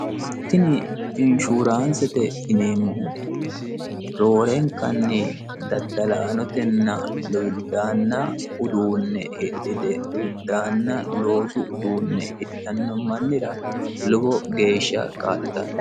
tini inshuuraansete yineemmohu roorenkanni daddalaanotenna luwiddaanna uduunne hidhite luwiddaanna loosu uduunne hidhanno mmannira lubo geeshsha kaa'litanno